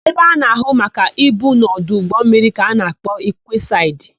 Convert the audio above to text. Ebe a na-áhụ̀ maka ibu n'ọdụ ụgbọmmiri ka a na-akpọ kwesaịdị.